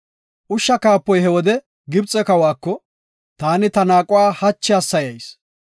Ushsha kaapoy he wode Gibxe kawako, “Taani ta naaquwa hachi hassayayis.